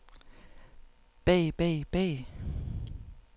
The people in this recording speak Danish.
bag bag bag